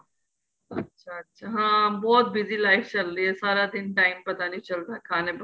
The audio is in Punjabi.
ਅੱਛਾ ਅੱਛਾ ਹਾਂ ਬਹੁਤ busy life ਚੱਲ ਰਹੀ ਏ ਸਾਰਾ ਦਿਨ time ਪਤਾ ਨਹੀਂ ਚੱਲਦਾ ਖਾਣੇ ਪਕਾਨੇ ਨੂੰ